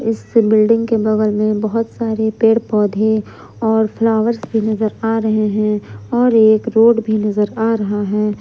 इस बिल्डिंग के बगल में बहोत सारे पेड़ पौधे और फ्लावर्स भी नजर आ रहे हैं और एक रोड भी नजर आ रहा है।